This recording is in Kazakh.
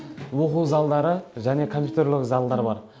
оқу залдары және компьютерлік залдар бар